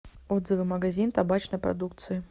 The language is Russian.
отзывы магазин табачной продукции